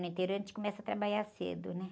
No interior, a gente começa a trabalhar cedo, né?